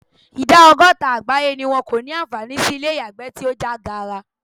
Ìdá ọgọ́ta àgbáyé ni wọn kò ní àǹfààní sí ilé ìyàgbẹ́ tí ó já gaara.